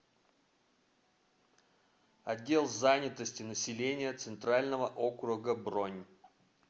отдел занятости населения центрального округа бронь